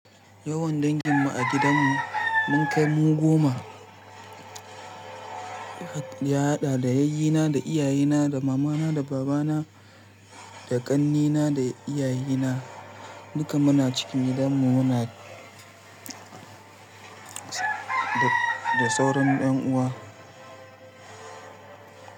Yawan danginmu a gidanmu mun kai mu goma. Ya haɗa da yayyina, da iyayena, da mamana, da babana, da ƙannina, da iyayena. Duka muna cikin gidanmu. Muna da sauran ƴan uwa.